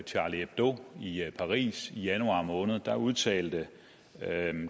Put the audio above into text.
charlie hebdo i paris i januar måned udtalte